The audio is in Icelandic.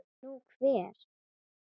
Nú, hver?